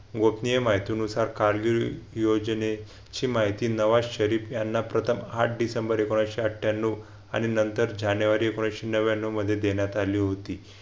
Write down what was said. गोपनीय माहितीनुसार कारगिल योजनेची माहिती नवा शरीफ यांना प्रथम आठ डिसेंबर एकोणविशे अठ्ठयांनाव आणि नंतर जानेवारी एकोणविशे नव्व्यान्नव मध्ये देण्यात आली होती.